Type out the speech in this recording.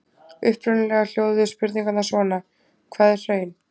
Upprunalega hljóðuðu spurningarnar svona: Hvað er hraun?